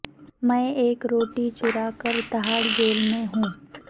میں ایک روٹی چرا کر تہاڑ جیل میں ہوں